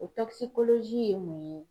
O ye mun ye?